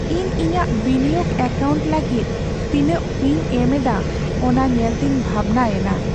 ᱤᱧ ᱤᱧᱟᱹᱜ ᱵᱤᱱᱤᱭᱳᱜᱽ ᱮᱠᱟᱣᱩᱱᱴ ᱞᱟᱹᱜᱤᱫ ᱛᱤᱱᱟᱹᱜ ᱯᱷᱤᱧ ᱮᱢ ᱮᱫᱟ ᱚᱱᱟ ᱧᱮᱞᱛᱮᱧ ᱵᱷᱟᱵᱽᱱᱟᱭᱮᱱᱟ ᱾